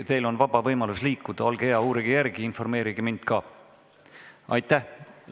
Teil on vaba võimalus liikuda, olge hea, uurige järele ja informeerige mind ka!